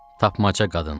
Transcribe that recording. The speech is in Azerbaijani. Tapmaca qadın.